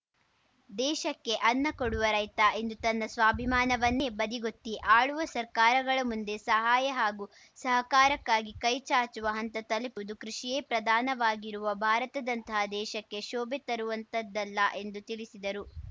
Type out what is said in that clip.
ದೇಶಕ್ಕೆ ಅನ್ನ ಕೊಡುವ ರೈತ ಇಂದು ತನ್ನ ಸ್ವಾಭಿಮಾನವನ್ನೇ ಬದಿಗೊತ್ತಿ ಆಳುವ ಸರ್ಕಾರಗಳ ಮುಂದೆ ಸಹಾಯ ಹಾಗೂ ಸಹಕಾರಕ್ಕಾಗಿ ಕೈ ಚಾಚುವ ಹಂತ ತಲುಪುವುದು ಕೃಷಿಯೇ ಪ್ರಧಾನವಾಗಿರುವ ಭಾರತದಂತಹ ದೇಶಕ್ಕೆ ಶೋಭೆ ತರುವಂತಹದ್ದಲ್ಲ ಎಂದು ತಿಳಿಸಿದರು